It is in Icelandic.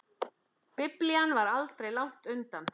Biblían var aldrei langt undan.